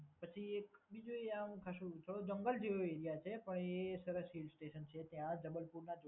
પછી બીજું એક ત્યાં ખાસું થોડો જંગલ જેવો એરિયા છે પણ એ સરસ હિલસ્ટેશન છે ત્યાં જબલપુરમાં.